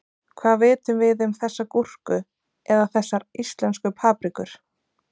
Hvað vitum við um þessa gúrku eða þessar íslensku paprikur?